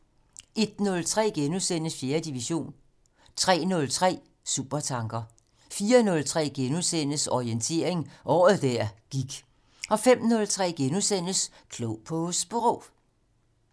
01:03: 4. division * 03:03: Supertanker 04:03: Orientering - Året der gik * 05:03: Klog på Sprog *